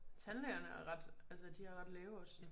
Tandlægerne er ret altså de har ret lave odds nu